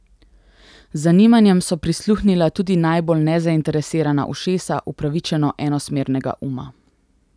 Z zanimanjem so prisluhnila tudi najbolj nezainteresirana ušesa upravičeno enosmernega uma.